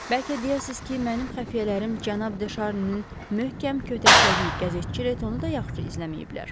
Bəlkə deyəsiz ki, mənim xəfiyyələrim cənab De Şarninin möhkəm kötəklədiyi qəzetçi Retonu da yaxşı izləməyiblər.